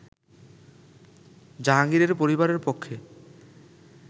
জাহাঙ্গীরের পরিবারের পক্ষে